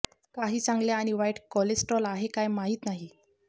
काही चांगल्या आणि वाईट कोलेस्ट्रॉल आहे काय माहित नाही